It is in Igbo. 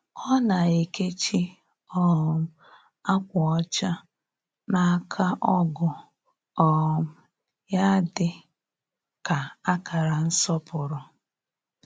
Ọ na-ekechi um akwa ọcha n’aka ọgu um ya dị ka akara nsọpụrụ.